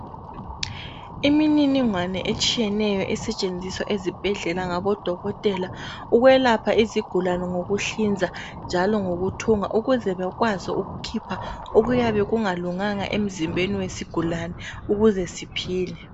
Imininingwane etshiyeneyo esetshenziswa ezibhedlela ngabodokotela ukuwelapha izigulane ngokuhlinza njalo ngokuthunga, ukuze bekwazi ukukhipha okuyabe kungalunganga emzimbeni wesigulane, ukuze siphile.